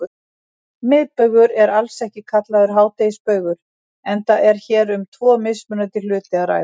Miðbaugur er alls ekki kallaður hádegisbaugur enda er hér um tvo mismunandi hluti að ræða.